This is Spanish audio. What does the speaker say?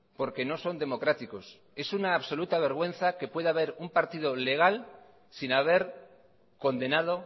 porque no son democráticos es una absoluta vergüenza que pueda haber un partido legal sin haber condenado